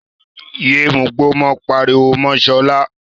Yéé mugbó mọ́! ó pariwo mọ́ Sọlá.